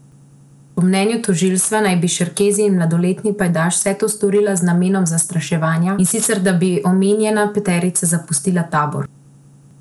Po mnenju tožilstva naj bi Šerkezi in mladoletni pajdaš vse to storila z namenom zastraševanja, in sicer da bi omenjena peterica zapustila tabor.